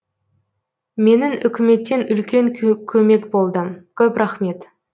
менің үкіметтен үлкен көмек болды көп рахмет